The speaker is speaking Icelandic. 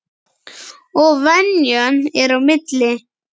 Og venjan er á milli.